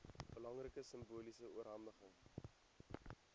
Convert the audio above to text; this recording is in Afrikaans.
belangrike simboliese oorhandiging